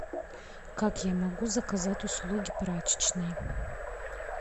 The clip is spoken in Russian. как я могу заказать услуги прачечной